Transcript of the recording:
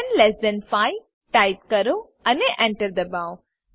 10 less than 5 type કરો અને Enter દબાવો